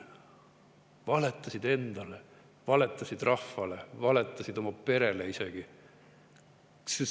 Valetasid endale, valetasid rahvale, valetasid isegi oma perele.